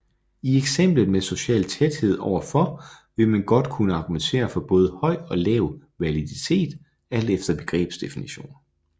I eksemplet med social tæthed overfor vil man godt kunne argumentere for både høj og lav validitet alt efter begrebsdefinition